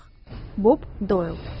Bob Doyle.